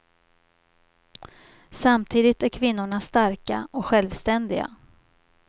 Samtidigt är kvinnorna starka och självständiga.